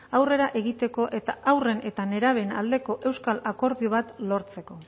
aurrera egiteko eta haurren eta nerabeen aldeko euskal akordio bat lortzeko